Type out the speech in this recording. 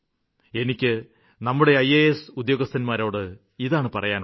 എനിക്ക് നമ്മുടെ ഇയാസ് ഉദ്യോഗസ്ഥരോട് ഇത്രയുമാണ് പറയാനുള്ളത്